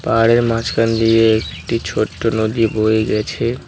আর এর মাঝখান দিয়ে একটি ছোট্টো নদী বয়ে গেছে।